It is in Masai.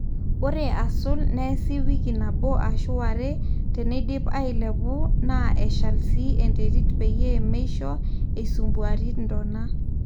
ore aasul neesi wiki nabo ashu ware, teneidip ailepu na eshal sii enterit peyie meisho eisumbuari ntona